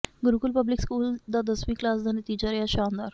Gurukul public school ਦਾ ਦਸਵੀਂ class ਦਾ ਨਤੀਜਾ ਰਿਹਾ ਸ਼ਾਨਦਾਰ